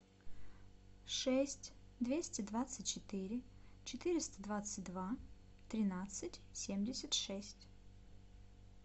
шесть двести двадцать четыре четыреста двадцать два тринадцать семьдесят шесть